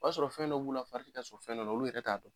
O b'a sɔrɔ fɛn dɔ b'u la, fari ti ka sɔn fɛn dɔ la, olu yɛrɛ t'a dɔn.